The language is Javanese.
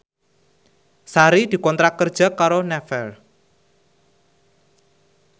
Sari dikontrak kerja karo Naver